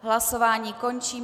Hlasování končím.